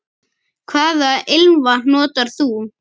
Hvaða ilmvatn notar þú?